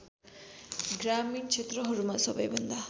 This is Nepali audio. ग्रामीण क्षेत्रहरूमा सबैभन्दा